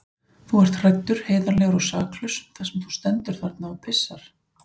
Þú ert hræddur, heiðarlegur og saklaus þar sem þú stendur þarna og pissar.